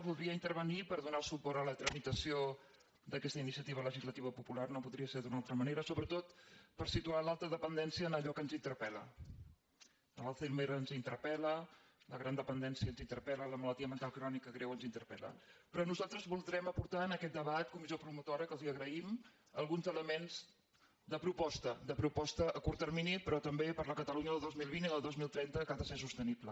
voldria intervenir per donar el suport a la tramitació d’aquesta iniciativa legislativa popular no podria ser d’una altra manera sobretot per situar l’alta dependència en allò que ens interpel·la l’alzheimer ens interpeldència ens interpel·la la malaltia mental crònica greu ens interpelperò nosaltres voldrem aportar en aquest debat comissió promotora a qui els ho agraïm alguns elements de proposta de proposta a curt termini però també per a la catalunya del dos mil vint i del dos mil trenta que ha de ser sostenible